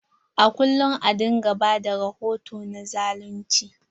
A kullum a dinga ba da rahoto na zalunci.